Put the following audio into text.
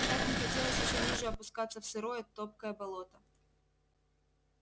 и так не хотелось ещё ниже опускаться в сырое топкое болото